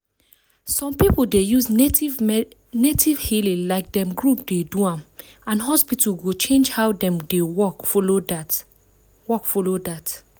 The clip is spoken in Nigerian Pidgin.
some people dey use native healing like dem group dey do am and hospital go change how dem dey work follow that. work follow that.